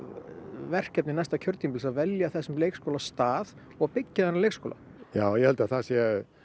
verkefni næsta kjörtímabils að velja þessum leikskóla stað og byggja þennan leikskóla já ég held að það sé